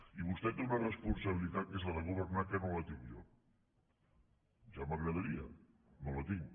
i vostè té una responsabilitat que és la de governar que no la tinc jo ja m’agradaria no la tinc